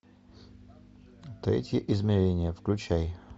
третье измерение включай